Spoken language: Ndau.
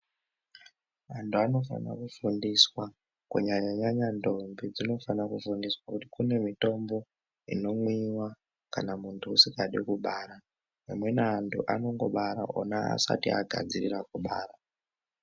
Antu anofana kufundiswa kunyanya nyanya ntombi dzinofana kufundiswa kuti kune mitombo inomwiwa kana muntu usikadi kubara amweni antu anongobara ona asati agadzirira kubara.